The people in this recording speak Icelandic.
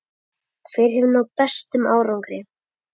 Hver hefur náð bestum árangri?